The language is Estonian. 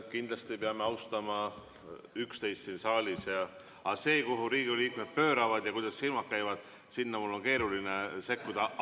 Kindlasti peame austama üksteist siin saalis, aga see, kuhu Riigikogu liikmed pööravad ja kuidas silmad käivad, sinna on mul keeruline sekkuda.